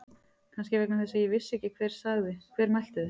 Kannski vegna þess að ég vissi ekki hver sagði. hver mælti þau.